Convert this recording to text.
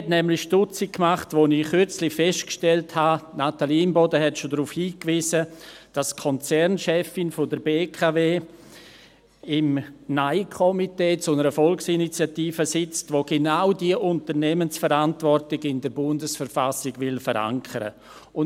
Mich erstaunte, als ich kürzlich feststellte – Natalie Imboden hat bereits darauf hingewiesen –, dass die Konzernchefin der BKW im Nein-Komitee zu einer Volksinitiative sitzt, die genau diese Unternehmensverantwortung in der Bundesverfassung der Schweizerischen Eidgenossenschaft (BV) verankern will.